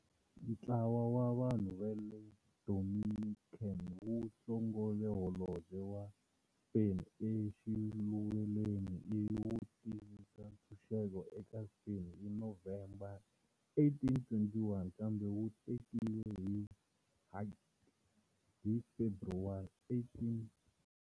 Ntlawa wa vanhu va le Dominican wu hlongole holobye wa Spain exiluvelweni ivi wu tivisa ntshunxeko eka Spain hi November 1821, kambe wu tekiwe hi Haiti hi February 1822.